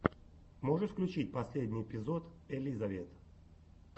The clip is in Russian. можешь включить последний эпизод элизавет